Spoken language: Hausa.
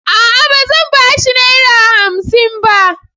A'a! Ba zan ba shi Naira hamsin ba.